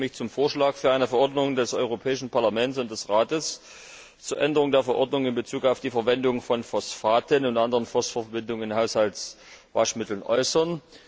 Auch ich möchte mich zum Vorschlag für eine Verordnung des Europäischen Parlaments und des Rates zur Änderung der Verordnung in Bezug auf die Verwendung von Phosphaten und anderen Phosphorverbindungen in Haushaltswaschmitteln äußern.